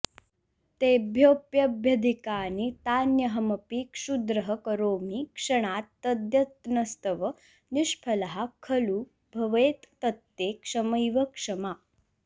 तेभ्योऽप्यभ्यधिकानि तान्यहमपि क्षुद्रः करोमि क्षणात् तद्यत्नस्तव निष्फलः खलु भवेत् तत्ते क्षमैव क्षमा